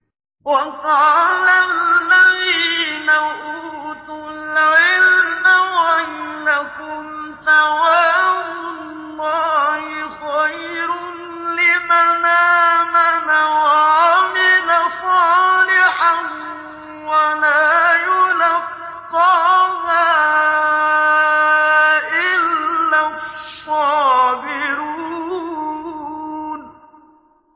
وَقَالَ الَّذِينَ أُوتُوا الْعِلْمَ وَيْلَكُمْ ثَوَابُ اللَّهِ خَيْرٌ لِّمَنْ آمَنَ وَعَمِلَ صَالِحًا وَلَا يُلَقَّاهَا إِلَّا الصَّابِرُونَ